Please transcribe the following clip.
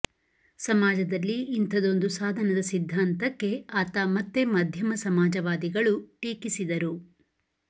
ಸಮಾಜದಲ್ಲಿ ಇಂಥದೊಂದು ಸಾಧನದ ಸಿದ್ಧಾಂತಕ್ಕೆ ಆತ ಮತ್ತೆ ಮಧ್ಯಮ ಸಮಾಜವಾದಿಗಳು ಟೀಕಿಸಿದರು